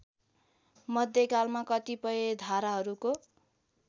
मध्यकालमा कतिपय धाराहरूको